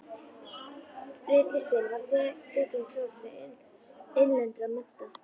Ritlistin var tekin í þjónustu innlendra mennta.